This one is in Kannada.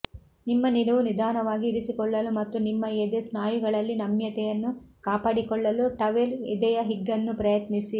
ನಿಮ್ಮ ನಿಲುವು ನಿಧಾನವಾಗಿ ಇರಿಸಿಕೊಳ್ಳಲು ಮತ್ತು ನಿಮ್ಮ ಎದೆ ಸ್ನಾಯುಗಳಲ್ಲಿ ನಮ್ಯತೆಯನ್ನು ಕಾಪಾಡಿಕೊಳ್ಳಲು ಟವೆಲ್ ಎದೆಯ ಹಿಗ್ಗನ್ನು ಪ್ರಯತ್ನಿಸಿ